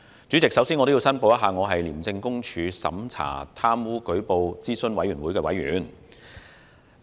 主席，我首先要申報我是廉政公署審查貪污舉報諮詢委員會的委員。